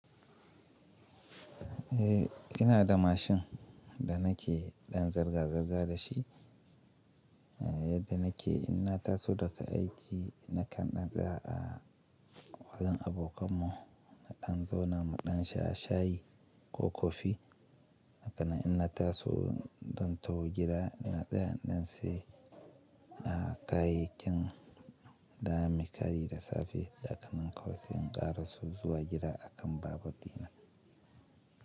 Eh ina da mashin da nake ɗan zirga-zirga da shi, yadda nake ina taso daga aiki na kanɗan tsawa a wajen abokan mu na ɗan zona muɗan sha shayi ko kofi. Hakana inna taso don taho gida na tsaya ɗan sai a kayikin da za muyi kari da safe, da aka nanko sai in ƙara so zuwa jira a kan babur dina.